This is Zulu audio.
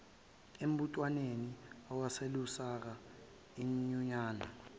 embuthwanweni owawuselusaka inyunyana